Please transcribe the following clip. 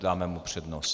Dáme mu přednost.